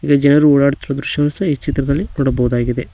ಇಲ್ಲಿ ಜನರು ಓಡಾಡುತ್ತಿರುವ ದೃಶ್ಯವನ್ನು ಸಹ ಈ ಚಿತ್ರದಲ್ಲಿ ನೋಡಬಹುದಾಗಿದೆ.